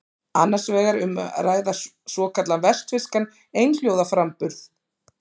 Annars vegar er um að ræða svokallaðan vestfirskan einhljóðaframburð.